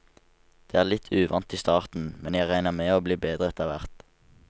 Det er litt uvant i starten, men jeg regner med å bli bedre etter hvert.